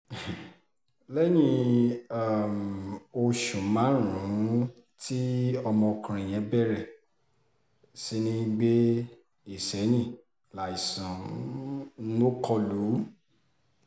lẹ́yìn um oṣù márùn-ún tí ọmọkùnrin yẹn bẹ̀rẹ̀ sí í gbé ìsẹ̀yìn láìsàn um kọ lù ú